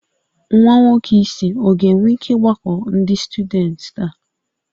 Nwa nwoke isi ọ ga-enwe ike ịgbakọ ndị syudents taa?